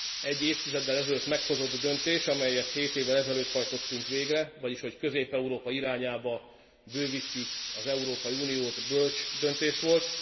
egy évtizeddel ezelőtt meghozott döntés, amelyet hét évvel ezelőtt hajtottunk végre, vagyis hogy Közép Európa irányába bővítjük az Európai Uniót, bölcs döntés volt.